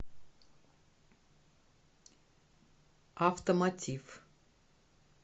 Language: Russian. автомотив